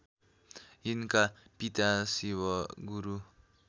यिनका पिता शिवगुरु